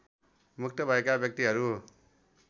मुक्त भएका व्यक्तिहरू